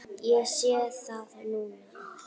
Ég sé það núna!